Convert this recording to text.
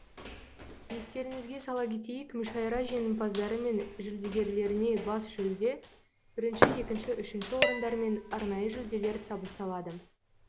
естеріңізге сала кетейік мүшайра жеңімпаздары мен жүлдегерлеріне бас жүлде бірінші екінші үшінші орындар мен арнайы жүлделер табысталады